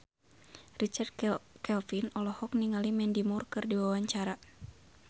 Richard Kevin olohok ningali Mandy Moore keur diwawancara